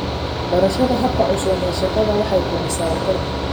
Barashada hababka cusub ee shaqada waxay kordhisaa waxtarka.